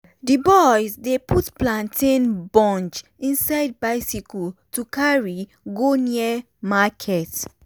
d boys dey put plantain bunch inside bicycle to carry go near market.